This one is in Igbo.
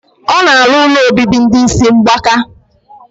O na alu ụlọ obibi ndi isi mgbaka.